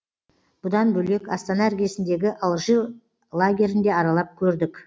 бұдан бөлек астана іргесіндегі алжир лагерін де аралап көрдік